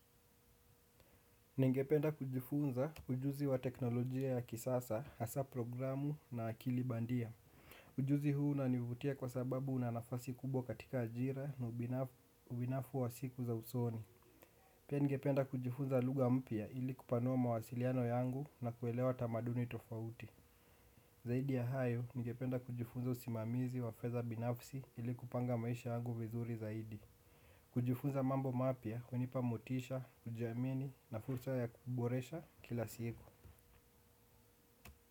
Ningependa kujifunza ujuzi wa teknolojia ya kisasa, hasa programu na akili bandia. Ujuzi huu unanivutia kwa sababu unanafasi kubwa katika ajira na ubinafu wa siku za usoni. Pia ningependa kujifunza luga mpia ili kupanua mawasiliano yangu na kuelewa tamaduni tofauti. Zaidi ya hayo, ningependa kujifunza usimamizi wafedha binafsi ili kupanga maisha yangu vizuri zaidi. Kujifunza mambo mapia, kwanipa motisha, kujiamini na fursa ya kuboresha kila siku.